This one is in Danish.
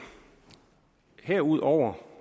herudover